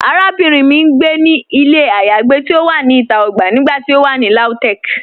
Àràbìnrin mì n gbé ní ilẹ̀ ayéagbé ti o wà ní ìtà ogbà nígbàtí o wà ní Lautech.